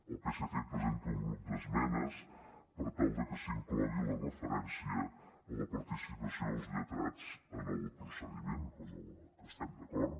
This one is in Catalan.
el psc presenta un grup d’esmenes per tal de que s’inclogui la referència a la participació dels lletrats en el procediment cosa amb la que estem d’acord